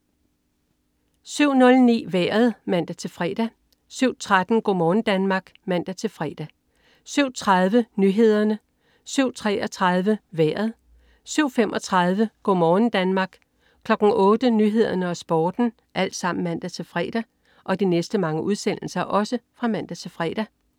07.09 Vejret (man-fre) 07.13 Go' morgen Danmark (man-fre) 07.30 Nyhederne (man-fre) 07.33 Vejret (man-fre) 07.35 Go' morgen Danmark (man-fre) 08.00 Nyhederne og Sporten (man-fre)